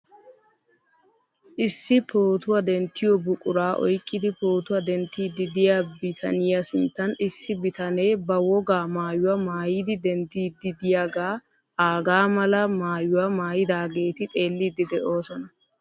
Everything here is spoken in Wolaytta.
Issi pootuwaa denttiyo buquraa oyqqidi pootuwaa denttiiddi diya bitaniya sinttan issi bitane ba wogaa maayuwa miyidi denddiiddi diyaagaa aagaa mala maayuwa maayidaageeti xeelliiddi de'oosona.